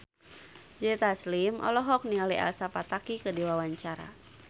Joe Taslim olohok ningali Elsa Pataky keur diwawancara